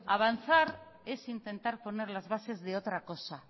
avanzar es intentar poner las bases de otra cosa